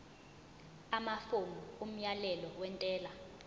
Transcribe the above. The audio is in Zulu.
amafomu omyalelo wentela